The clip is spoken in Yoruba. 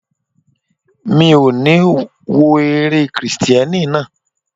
Mi ò ní wo eré Kristẹni náà.